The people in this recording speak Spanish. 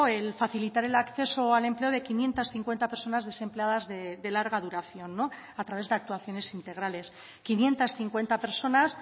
el facilitar el acceso al empleo de quinientos cincuenta personas desempleadas de larga duración a través de actuaciones integrales quinientos cincuenta personas